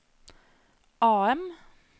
AM